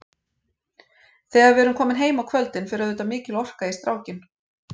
Þegar við erum komin heim á kvöldin fer auðvitað mikil orka í strákinn.